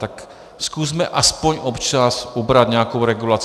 Tak zkusme aspoň občas ubrat nějakou regulaci.